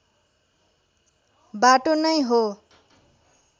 बाटो नै हो